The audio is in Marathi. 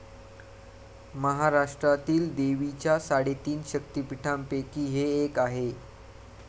महाराष्ट्रातील देवीच्या साडेतीन शक्तिपीठांपैकी हे एक आहे.